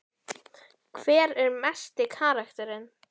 Hver er mesti karakterinn?